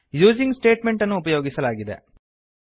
using statement ಅನ್ನು ಉಪಯೋಗಿಸಲಾಗಿದೆ